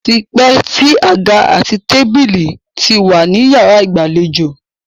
Ó ti pẹ́ tí àga àti tábílì ti wà ní yàrá ìgbàlejò.